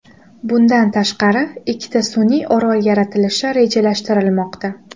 Bundan tashqari, ikkita sun’iy orol yaratilishi rejalashtirilmoqda.